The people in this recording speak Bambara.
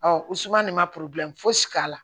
u suma nin ma fosi k'a la